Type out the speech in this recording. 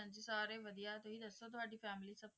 ਸਾਰੇ ਵਧੀਆ ਤੁਸੀ ਦੱਸੋ ਤੁਹਾਡੀ family ਸਭ ਕਿਵੇਂ ਆ